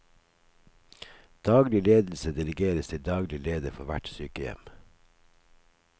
Daglig ledelse delegeres til daglig leder for hvert sykehjem.